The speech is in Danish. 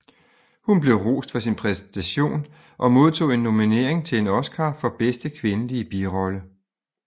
Hun blev rost for sin præstation og modtog en nominering til en Oscar for bedste kvindelige birolle